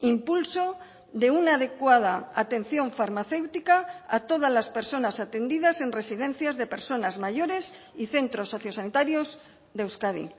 impulso de una adecuada atención farmacéutica a todas las personas atendidas en residencias de personas mayores y centros socio sanitarios de euskadi